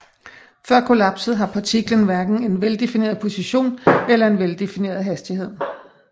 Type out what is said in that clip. Før kollapset har partiklen hverken en veldefineret position eller veldefineret hastighed